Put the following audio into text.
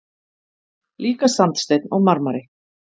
Líka sandsteinn og marmari.